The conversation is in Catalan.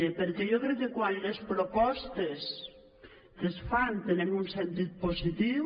perquè jo crec que quan les propostes que es fan tenen un sentit positiu